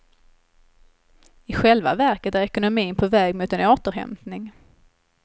I själva verket är ekonomin på väg mot en återhämtning.